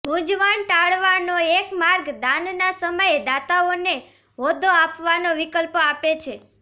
મૂંઝવણ ટાળવાનો એક માર્ગ દાનનાં સમયે દાતાઓને હોદ્દો આપવાનો વિકલ્પ આપે છે